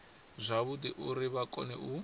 zwavhudi uri vha kone u